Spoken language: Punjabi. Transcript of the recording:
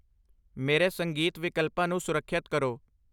ਮੇਰੇ ਸੰਗੀਤ ਵਿਕਲਪਾਂ ਨੂੰ ਸੁਰੱਖਿਅਤ ਕਰੋ |